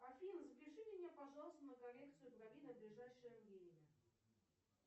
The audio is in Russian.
афина запиши меня пожалуйста на коррекцию бровей на ближайшее время